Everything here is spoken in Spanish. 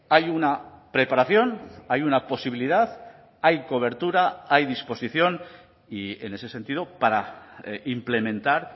hay una preparación hay una posibilidad hay cobertura hay disposición y en ese sentido para implementar